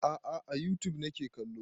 A'a a youtube nake kallo